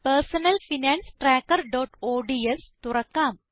personal finance trackerഓഡ്സ് തുറക്കാം